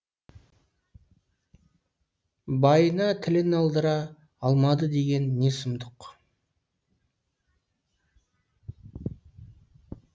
байына тілін алдыра алмады деген не сұмдық